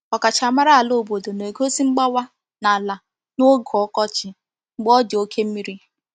Ọkachamara ala obodo na-egosi mgbawa n’ala n’oge ọkọchị mgbe ọ dị oke mmiri.